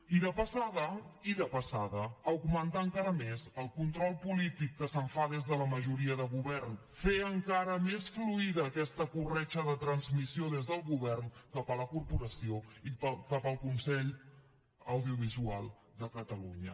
i de passada i de passada augmentar encara més el control polític que se’n fa des de la majoria de govern fer encara més fluida aquesta corretja de transmissió des del govern cap a la corporació i cap al consell audiovisual de catalunya